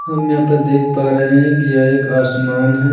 हम यहाँ पर देख पा रहे हैं कि यह एक आसमान है।